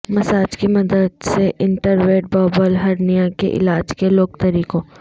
massage کی مدد سے انٹروریٹ بربل ہرنیا کے علاج کے لوک طریقوں